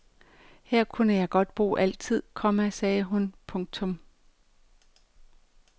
Her kunne jeg godt bo altid, komma sagde hun. punktum